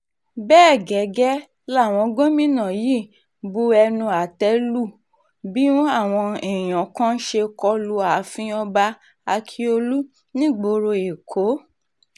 bẹ́ẹ̀ gẹ́gẹ́ làwọn gómìnà yìí bu ẹnu àtẹ́ lu bí àwọn èèyàn kan ṣe kọlu ààfin ọba ákíọ̀lù nígboro èkó